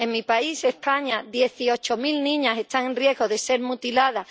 En mi país, España, dieciocho mil niñas están en riesgo de ser mutiladas.